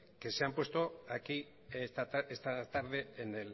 que se ha puesto aquí esta tarde